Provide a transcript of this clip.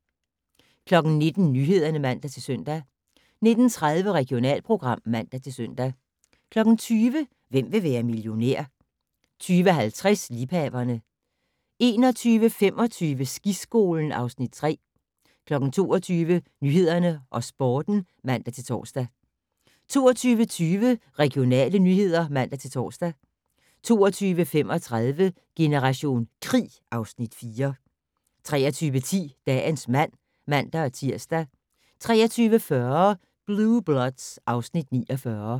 19:00: Nyhederne (man-søn) 19:30: Regionalprogram (man-søn) 20:00: Hvem vil være millionær? 20:50: Liebhaverne 21:25: Skiskolen (Afs. 3) 22:00: Nyhederne og Sporten (man-tor) 22:20: Regionale nyheder (man-tor) 22:35: Generation krig (Afs. 4) 23:10: Dagens mand (man-tir) 23:40: Blue Bloods (Afs. 49)